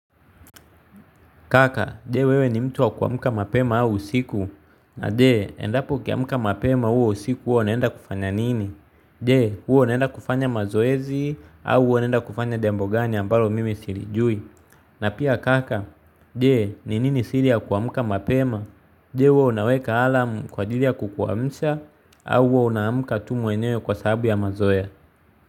Kaka, jee wewe ni mtu wa kuamuka mapema au usiku? Na jee, endapo ukiamuka mapema huo usiku huwa unaenda kufanya nini? Jee, huwa unaenda kufanya mazoezi au huwa unaenda kufanya jambo gani ambalo mimi silijui? Na pia kaka, je, ni nini siri ya kuamuka mapema? Jee, huwa unaweka alam kwa ajili ya kukuamsha au huwa unaamuka tu mwenyewe kwa sahabu ya mazoea?